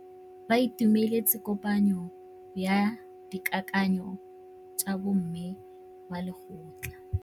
Ba itumeletse kôpanyo ya dikakanyô tsa bo mme ba lekgotla.